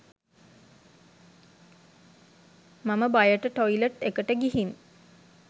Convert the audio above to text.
මම බයට ටොයිලට් එකට ගිහින්